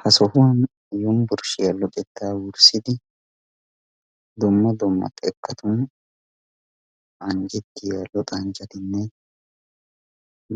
ha sohuwan yunbburshshiyaa luxettaa wurssidi dumma dumma xekkatun anjjettiyaa luxanchchatinne